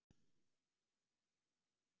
Lovísa, hvernig er dagskráin í dag?